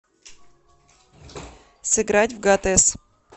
сыграть в гатес